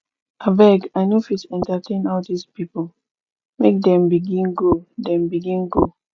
abeg i no fit entertain all dese pipo make dem begin go dem begin go